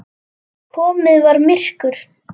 Komið var myrkur.